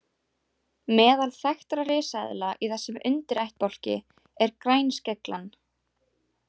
Meðal þekktra risaeðla í þessum undirættbálki er grænskeglan.